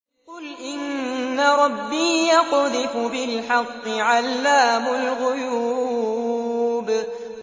قُلْ إِنَّ رَبِّي يَقْذِفُ بِالْحَقِّ عَلَّامُ الْغُيُوبِ